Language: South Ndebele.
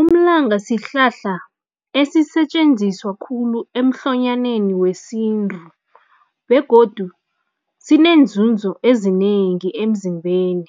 Umlanga sihlahla esisetjenziswa khulu emhlonyaneni wesintu begodu sineenzunzo ezinengi emzimbeni.